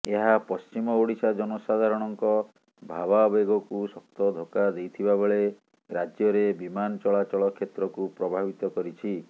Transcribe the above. ଏହା ପଶ୍ଚିମ ଓଡ଼ିଶା ଜନସାଧାରଣଙ୍କ ଭାବାବେଗକୁ ଶକ୍ତ ଧକ୍କା ଦେଇଥିବାବେଳେ ରାଜ୍ୟରେ ବିମାନ ଚଳାଚଳ କ୍ଷେତ୍ରକୁ ପ୍ରଭାବିତ କରିଛି